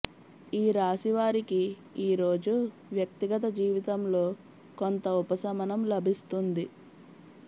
ఈ రాశి వారికి ఈరోజు వ్యక్తిగత జీవితంలో కొంత ఉపశమనం లభిస్తుంది